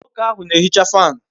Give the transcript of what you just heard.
Nwoke ahu na ehicha fanu